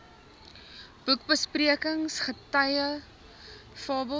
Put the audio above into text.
boekbesprekings guitige fabels